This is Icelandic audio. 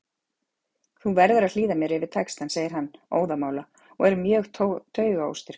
Þú verður að hlýða mér yfir textann, segir hann óðamála og er mjög taugaóstyrkur.